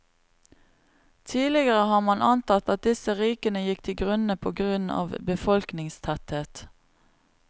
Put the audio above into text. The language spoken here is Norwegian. Tidligere har man antatt at disse rikene gikk til grunne på grunn av befolkningstetthet.